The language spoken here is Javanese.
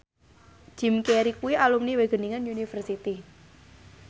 Jim Carey kuwi alumni Wageningen University